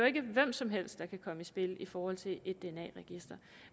ikke hvem som helst der kan komme i spil i forhold til et dna register